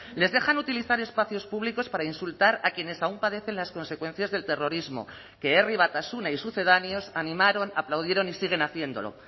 les dejan utilizar espacios públicos para insultar a quienes aún padecen las consecuencias del terrorismo que herri batasuna y sucedáneos animaron aplaudieron y siguen haciéndolo